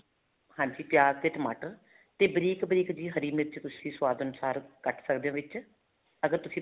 ਹਾਂਜੀ ਪਿਆਜ਼ ਤੇ ਟਮਾਟਰ ਤੇ ਬਰੀਕ ਬਰੀਕ ਜਿਹੀ ਹਰੀ ਮਿਰਚ ਤੁਸੀਂ ਸੁਆਦ ਅਨੁਸਾਰ ਕੱਟ ਸਕਦੇ ਹੋ ਵਿੱਚ ਅਗਰ ਤੁਸੀਂ